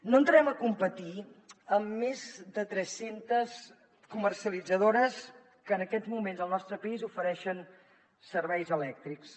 no entrarem a competir amb més de tres centes comercialitzadores que en aquests moments al nostre país ofereixen serveis elèctrics